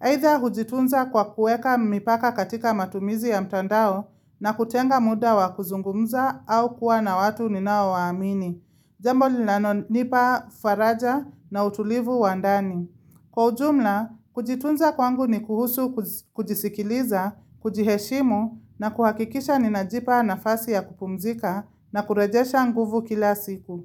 Either hujitunza kwa kuweka mipaka katika matumizi ya mtandao na kutenga muda wa kuzungumza au kuwa na watu ninao waamini. Jambo linalo nipa faraja na utulivu wa ndani. Kwa ujumla, kujitunza kwangu ni kuhusu kujisikiliza, kujiheshimu na kuhakikisha ninajipa nafasi ya kupumzika na kurejesha nguvu kila siku.